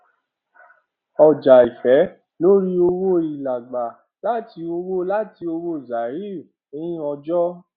ọjàìfẹ lórí owó ìlá gbà láti ọwọ láti ọwọ zahir nn ọjọ